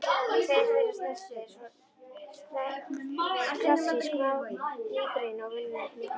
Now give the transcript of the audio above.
Tveir þeirra stærstu eru svonefnt klassískt mígreni og venjulegt mígreni.